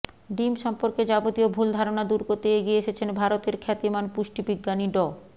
ডিম সম্পর্কে যাবতীয় ভুল ধারণা দূর করতে এগিয়ে এসেছেন ভারতের খ্যাতিমান পুষ্টিবিজ্ঞানী ড